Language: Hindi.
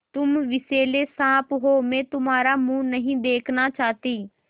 तुम विषैले साँप हो मैं तुम्हारा मुँह नहीं देखना चाहती